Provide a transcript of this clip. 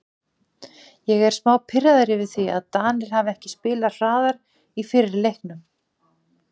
Ég er smá pirraður yfir því að Danir hafi ekki spilað hraðar í fyrri leiknum.